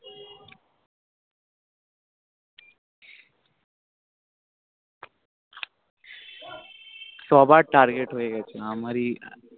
সবার Target হয়ে গেছে আমারই